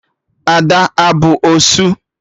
Ada abụ osu?